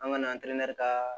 An ka na an tɛnɛn ka